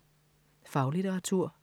Faglitteratur